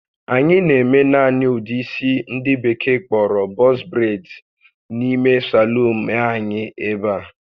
Anyị na-eme naanị ụdị isi ndị Bekee kpọrọ "box braids" n'ime saluun l anyị ebe a